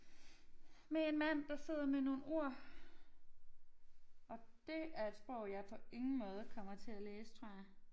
Med en mand der sidder med nogle ord og det er et sprog jeg på ingen måde kommer til at læse tror jeg